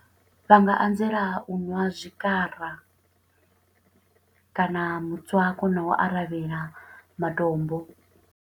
Vha nga anzela u ṅwa zwikwara, kana mutswako, na u aravhela matombo.